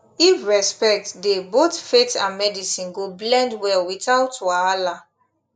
if respect dey both faith and medicine go blend well without wahala